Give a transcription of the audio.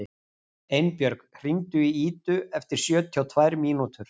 Einbjörg, hringdu í Idu eftir sjötíu og tvær mínútur.